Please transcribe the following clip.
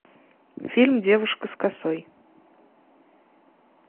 фильм девушка с косой